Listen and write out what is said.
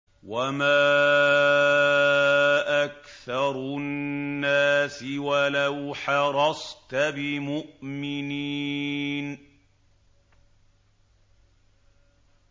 وَمَا أَكْثَرُ النَّاسِ وَلَوْ حَرَصْتَ بِمُؤْمِنِينَ